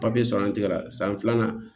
Papiye sɔrɔ an tɛgɛ la san filanan